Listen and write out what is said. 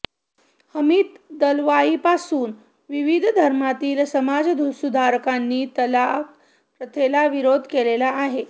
हमीद दलवाईपासून विविध धर्मातील समाजसुधारकांनी तलाक प्रथेला विरोध केलेला आहे